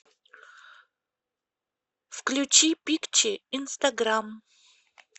включи пикчи инстаграм